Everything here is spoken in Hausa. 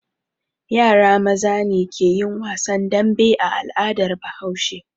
Yara maza ne ke yin wasan dambe a al'adar Bahaushe.